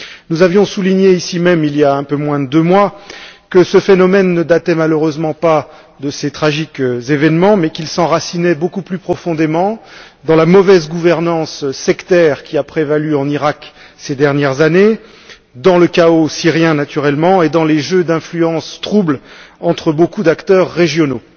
Nous avions souligné ici même, il y a un peu moins de deux mois, que ce phénomène ne datait malheureusement pas de ces tragiques événements mais qu'il s'enracinait beaucoup plus profondément dans la mauvaise gouvernance sectaire qui a prévalu en Iraq ces dernières années, dans le chaos syrien naturellement et dans les jeux d'influence troubles entre beaucoup d'acteurs régionaux.